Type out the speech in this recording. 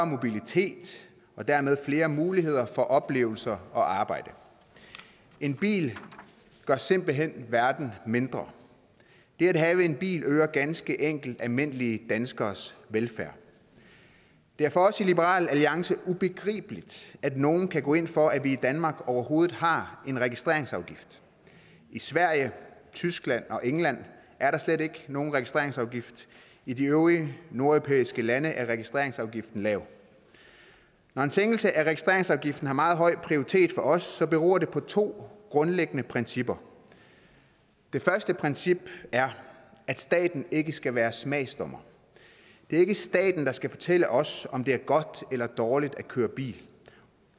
mobilitet og dermed flere muligheder for oplevelser og arbejde en bil gør simpelt hen verden mindre det at have en bil hører ganske enkelt almindelige danskeres velfærd det er for os i liberal alliance ubegribeligt at nogen kan gå ind for at vi i danmark overhovedet har en registreringsafgift i sverige tyskland og england er der slet ikke nogen registreringsafgift i de øvrige nordeuropæiske lande er registreringsafgiften lav når en sænkelse af registreringsafgiften har meget høj prioritet for os beror det på to grundlæggende principper det første princip er at staten ikke skal være smagsdommer det er ikke staten der skal fortælle os om det er godt eller dårligt at køre bil